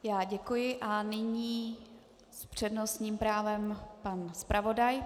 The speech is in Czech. Já děkuji a nyní s přednostním právem pan zpravodaj.